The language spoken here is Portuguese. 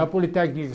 Na